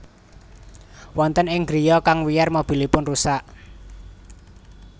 Wonten ing griya kang wiyar mobilipun rusak